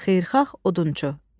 Xeyirxah Odunçu.